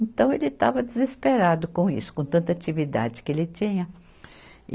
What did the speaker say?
Então ele estava desesperado com isso, com tanta atividade que ele tinha. e